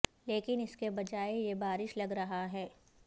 لیکن اس کے بجائے یہ بارش لگ رہا ہے